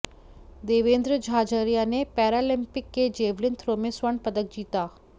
देवेंद्र झाझरिया ने पैरालिंपिक के javelin throw में स्वर्ण पदक जीता